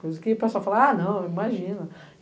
Coisa que o pessoal falava, ah, não, imagina.